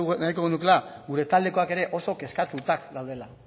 nahiko genukeena gure taldekoak ere oso kezkatuak daudela